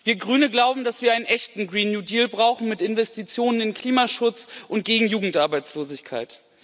Wir Grüne glauben, dass wir einen echten Green New Deal brauchen, mit Investitionen in Klimaschutz und gegen Jugendarbeitslosigkeit.